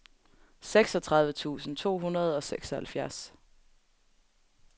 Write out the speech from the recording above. seksogtredive tusind to hundrede og seksoghalvfjerds